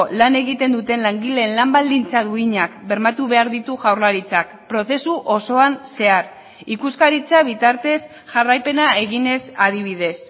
lan egiten duten langileen lan baldintza duinak bermatu behar ditu jaurlaritzak prozesu osoan zehar ikuskaritza bitartez jarraipena eginez adibidez